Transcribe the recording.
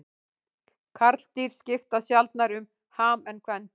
Karldýr skipta sjaldnar um ham en kvendýr.